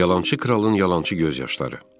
Yalançı kralın yalançı göz yaşları.